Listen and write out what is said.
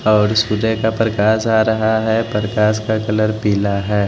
और सूर्य का प्रकाश आ रहा है प्रकाश का कलर पीला है।